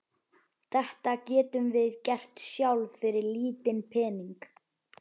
Þetta getum við gert sjálf fyrir lítinn pening.